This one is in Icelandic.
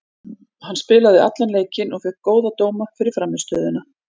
Hann spilaði allan leikinn og fékk góða dóma fyrir frammistöðuna.